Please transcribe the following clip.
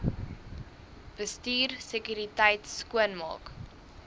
bestuur sekuriteit skoonmaak